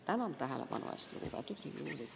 Tänan tähelepanu eest, lugupeetud Riigikogu!